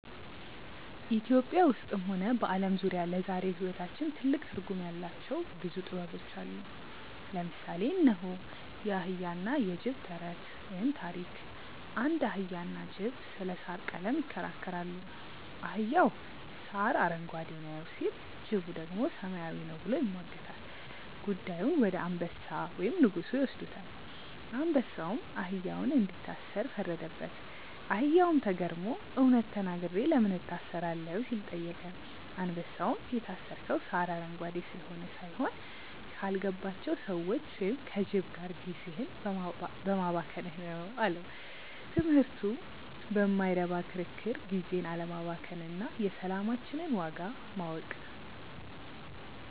ኢትዮጵያ ውስጥም ሆነ በዓለም ዙሪያ ለዛሬው ሕይወታችን ትልቅ ትርጉም ያላቸው ብዙ ጥበቦች አሉ። ለምሳሌ እነሆ፦ የአህያና የጅብ ተረት (ታሪክ) አንድ አህያና ጅብ ስለ ሣር ቀለም ይከራከራሉ። አህያው "ሣር አረንጓዴ ነው" ሲል፣ ጅቡ ደግሞ "ሰማያዊ ነው" ብሎ ይሟገታል። ጉዳዩን ወደ አንበሳ (ንጉሡ) ይወስዱታል። አንበሳውም አህያውን እንዲታሰር ፈረደበት። አህያውም ተገርሞ "እውነት ተናግሬ ለምን እታሰራለሁ?" ሲል ጠየቀ። አንበሳውም "የታሰርከው ሣር አረንጓዴ ስለሆነ ሳይሆን፣ ካልገባቸው ሰዎች (ከጅብ) ጋር ጊዜህን በማባከንህ ነው" አለው። ትምህርቱ በማይረባ ክርክር ጊዜን አለማባከን እና የሰላማችንን ዋጋ ማወቅ።